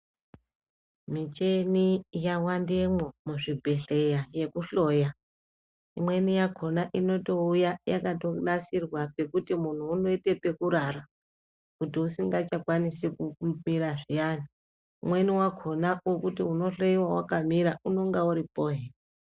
Michini yawandemwo muzvibhedhleya yekuhloya. Imweni yakhona inotouya yakanasirwa pekuti muntu unoite pekurara kuti usikachakwanisi kumira zviyani. Umweni wakhona wekuti unohloyiwa wakamira unenge uripohe.